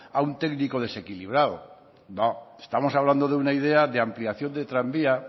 a un técnico desequilibrado no estamos hablando de una idea de ampliación de tranvía